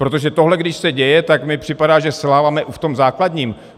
Protože tohle když se děje, tak mi připadá, že selháváme i v tom základním.